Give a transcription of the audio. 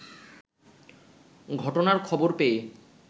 ঘটনার খবর পেয়ে